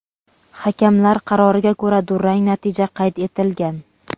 hakamlar qaroriga ko‘ra durang natija qayd etilgan.